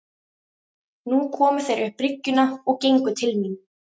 Nú komu þeir upp bryggjuna og gengu til mín.